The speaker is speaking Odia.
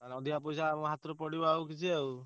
ତାହେଲେ ଅଧିକା ପଇସା ଆମ ହାତରୁ ପଡିବ ଆଉ କିଛି ଆଉ।